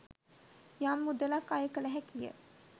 යම් මුදලක් අය කළ හැකිය.